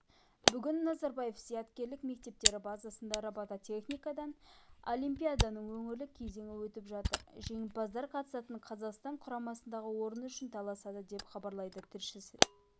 бүгін назарбаев зияткерлік мектептері базасында робототехникадан олимпиаданың өңірлік кезеңі өтіп жатыр жеңімпаздар қатысатын қазақстан құрамасындағы орын үшін таласады деп хабарлайды тілшісі